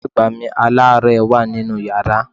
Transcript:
Ìyá àgbà mi aláàárẹ̀ wà nínú yàrá.